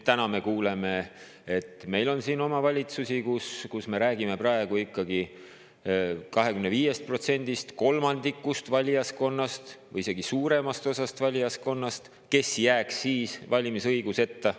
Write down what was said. Täna me kuuleme, et meil on omavalitsusi, kus me räägime praegu ikkagi 25%‑st, kolmandikust või isegi suuremast osast valijaskonnast, kes jääks siis valimisõiguseta.